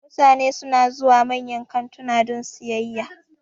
Mutane suna zuwa manyan kantuna don sayayya